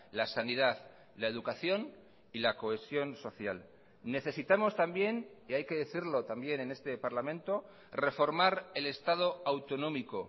la sanidad la educación y la cohesión social necesitamos también y hay que decirlo también en este parlamento reformar el estado autonómico